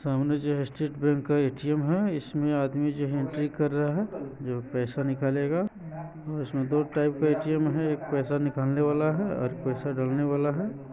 समने जो state bank का ए_टी_एम हैं इसमे आदमी जो एंट्री कर रहे जो पैसा निकलन वाला हैं इसमे दो टाइप का एटीएम है एक पैसा निकालने वाला है एक डालने वाला है|